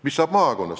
Mis saab maakonnast?